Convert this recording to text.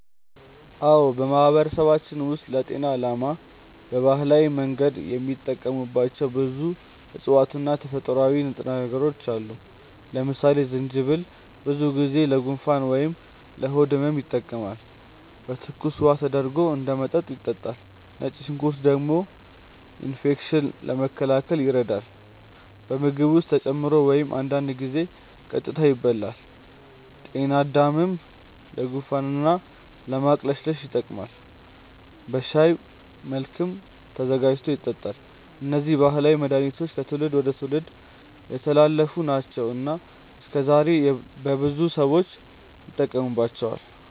አዎ፣ በማህበረሰባችን ውስጥ ለጤና ዓላማ በባህላዊ መንገድ የሚጠቀሙባቸው ብዙ እፅዋት እና ተፈጥሯዊ ንጥረ ነገሮች አሉ። ለምሳሌ ጅንጅብል ብዙ ጊዜ ለጉንፋን ወይም ለሆድ ህመም ይጠቀማል፤ በትኩስ ውሃ ተደርጎ እንደ መጠጥ ይጠጣል። ነጭ ሽንኩርት ደግሞ ኢንፌክሽንን ለመከላከል ይረዳል፣ በምግብ ውስጥ ተጨምሮ ወይም አንዳንድ ጊዜ ቀጥታ ይበላል። ጤናድምም ለጉንፋን እና ለማቅለሽለሽ ይጠቀማል፤ በሻይ መልክም ተዘጋጅቶ ይጠጣል። እነዚህ ባህላዊ መድሃኒቶች ከትውልድ ወደ ትውልድ የተላለፉ ናቸው እና እስከዛሬም በብዙ ሰዎች ይጠቀሙባቸዋል።